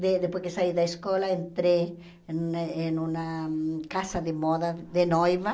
De depois que saí da escola, entrei em em uma casa de moda de noiva.